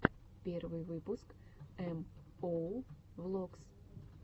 первый выпуск эм оу влогс